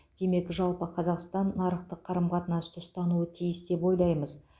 демек жалпы қазақстан нарықтық қарым қатынасты ұстануы тиіс деп ойлаймыз